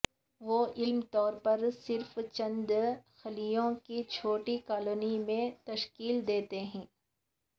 وہ عام طور پر صرف چند خلیوں کی چھوٹی کالونیوں میں تشکیل دیتے ہیں